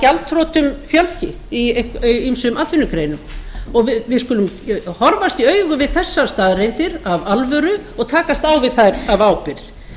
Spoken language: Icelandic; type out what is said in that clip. gjaldþrotum fjölgi í ýmsum atvinnugreinum og við skulum horfast í augu við þessar staðreyndir af alvöru og takast á við þær af ábyrgð